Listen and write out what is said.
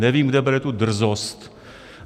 Nevím, kde bere tu drzost.